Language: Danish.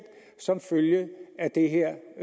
som følge af det her